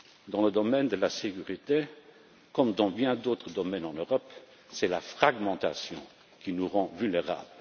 Dans le domaine de la sécurité comme dans bien d'autres domaines en Europe, c'est la fragmentation qui nous rend vulnérables.